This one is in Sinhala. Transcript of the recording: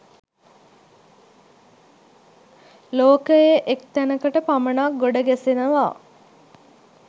ලෝකයේ එක් තැනකට පමණක් ගොඩ ගැසෙනවා.